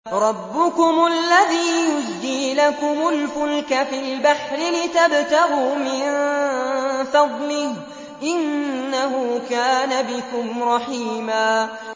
رَّبُّكُمُ الَّذِي يُزْجِي لَكُمُ الْفُلْكَ فِي الْبَحْرِ لِتَبْتَغُوا مِن فَضْلِهِ ۚ إِنَّهُ كَانَ بِكُمْ رَحِيمًا